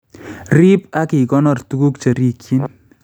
Riib ak ikonor tukuk che rikyin